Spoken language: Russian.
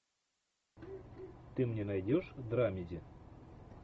ты мне найдешь драмеди